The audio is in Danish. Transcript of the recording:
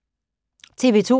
TV 2